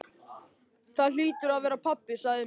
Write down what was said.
Það hlýtur að vera pabbi, sagði Emil.